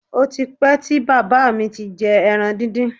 Ó ti pẹ́ tí bàbá mi ti jẹ ẹran díndín